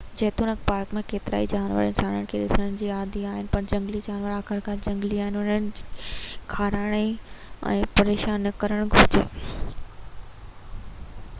جيتوڻڪ پارڪ ۾ ڪيترائي جانور انسانن کي ڏسڻ جا عادي آهن پر جهنگلي جانور آخرڪار جهنگلي آهن ۽ انهن کي کارائڻ ۽ پريشان نہ ڪرڻ گهرجي